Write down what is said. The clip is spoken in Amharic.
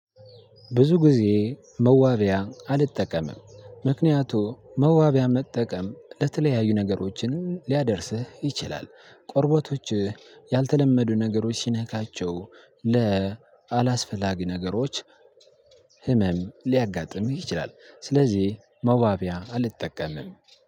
ብዙ ጊዜ መዋቢያ አልጠቀምም ምክንያቱም መዋቢያ መጠቀም ለተለያዩ ነገሮችን ሊያደርስህ ይችላል ቁርበቶችህ ያልተለመዱ ነገሮች ሲነካቸው ለአላስፈላጊ ነገሮች ህመም ሊያጋጥምህ ይችላል። ስለዚህ መዋቢያ አልጠቀምም